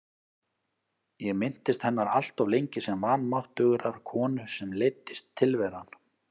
Ég minntist hennar alltof lengi sem vanmáttugrar konu sem leiddist tilveran.